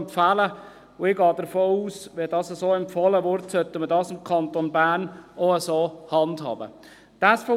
Ich gehe davon aus, dass wenn dies so empfohlen wird, wir es im Kanton Bern auch entsprechend handhaben sollten.